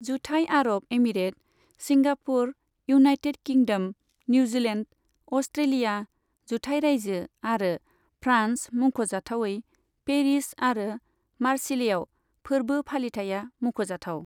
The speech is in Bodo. जुथाय Arab Emirates, Singapore, United Kingdom, New Zealand, Australia, जुथाय रायजो आरो फ्रान्स मुंख'जाथावै पेरिस आरो मार्सिलेआव फोरबो फालिथाइया मुंख'जाथाव।